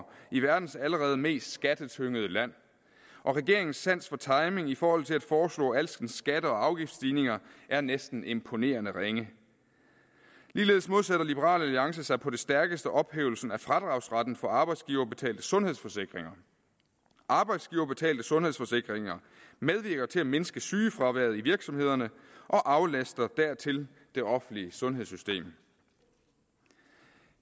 i verdens allerede mest skattetyngede land og regeringens sans for timing i forhold til at foreslå alskens skatter og afgiftsstigninger er næsten imponerende ringe ligeledes modsætter liberal alliance sig på det stærkeste ophævelsen af fradragsretten for arbejdsgiverbetalte sundhedsforsikringer arbejdsgiverbetalte sundhedsforsikringer medvirker til at mindske sygefraværet i virksomhederne og aflaster dertil det offentlige sundhedssystem